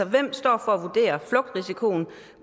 hvem står for at vurdere flugtrisikoen